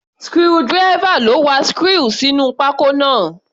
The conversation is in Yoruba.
Screwdriver ló wa screw sínú pákó náà.